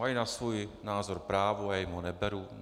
Mají na svůj názor právo, já jim ho neberu.